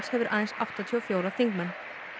hefur aðeins áttatíu og fjóra þingmenn